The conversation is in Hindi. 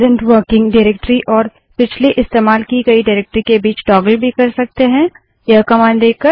प्रेसेंट वर्किंग डाइरेक्टरी और पिछली इस्तेमाल की गयी डाइरेक्टरी के बीच टागल भी कर सकते हैं यह कमांड देकर